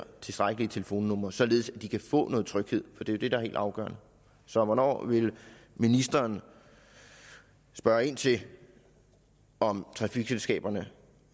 tilstrækkelige telefonnumre således at de kan få noget tryghed for det er det det helt afgørende så hvornår vil ministeren spørge ind til om trafikselskaberne